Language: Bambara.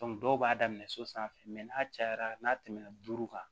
dɔw b'a daminɛ so sanfɛ n'a cayara n'a tɛmɛ na duuru kan